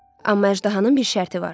Amma əjdahanın bir şərti var.